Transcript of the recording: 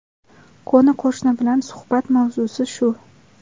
Qo‘ni-qo‘shni bilan suhbat mavzusi shu.